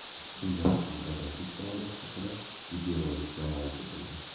Shundan so‘ng agentlik faoliyati haqida videorolik namoyish etildi.